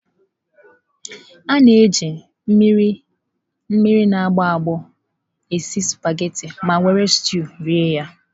A na-eji mmiri na agbọ agbo esi sụpaghetị ma were steụụ rie ya.